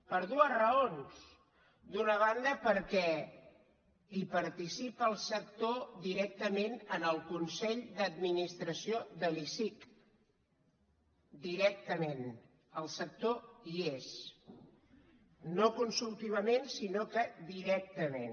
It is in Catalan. per dues raons d’una banda perquè hi participa el sector directament en el consell d’administració de l’icec directament el sector hi és no consultivament sinó que directament